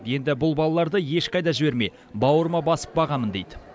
енді бұл балаларды ешқайда жібермей бауырыма басып бағамын дейді